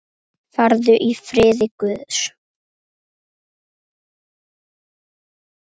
Farðu í friði Guðs.